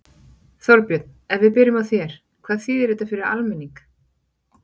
Þorbjörn, ef við byrjum á þér, hvað þýðir þetta fyrir almenning?